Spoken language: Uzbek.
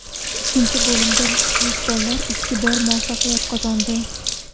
Ikkinchi bo‘limda mezbonlar ikki bor muvaffaqiyat qozondi.